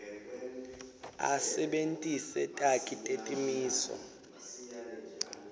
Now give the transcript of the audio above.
asebentise takhi netimiso